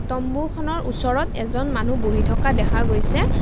তম্বুখনৰ ওচৰত এজন মানুহ বহি থকা দেখা গৈছে।